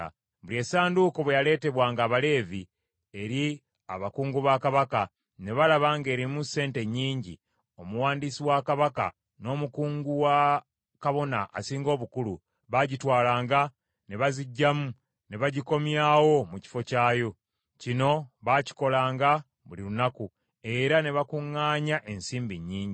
Buli essanduuko bwe yaleetebwanga Abaleevi eri abakungu ba kabaka ne balaba ng’erimu sente nnyingi, omuwandiisi wa kabaka n’omukungu wa kabona asinga obukulu, baagitwalanga ne baziggyamu, ne bagikomyawo mu kifo kyayo. Kino baakikolanga buli lunaku, era ne bakuŋŋaanya ensimbi nnyingi.